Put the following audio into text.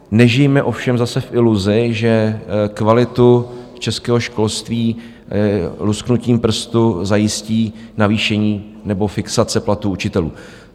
Nežijme ovšem zase v iluzi, že kvalitu českého školství lusknutím prstů zajistí navýšení nebo fixace platů učitelů.